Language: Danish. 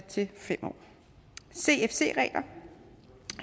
til fem år cfc regler